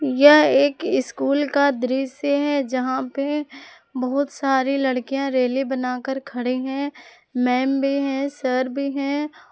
यह एक स्कूल का दृश्य है जहां पे बहुत सारी लड़कियां रेले बनाकर खड़ी हैं मैम भी हैं सर भी हैं।